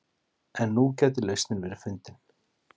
En nú gæti lausnin verið fundin